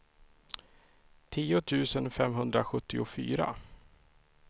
tio tusen femhundrasjuttiofyra